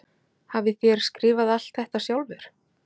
Hafið þér skrifað alt þetta sjálfur?